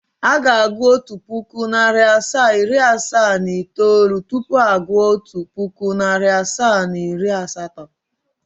Aga agụụ otu puku, nari asaa, iri asaa na itoolu tupu agu otu puku, nari asaa na iri asatọ.